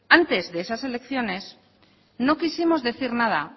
antes de esas elecciones no quisimos decir nada